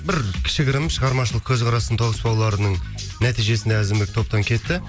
бір кішігірім шығармашылық көзқарасының тауысып алуларының нәтижесінде әзімбек топтан кетті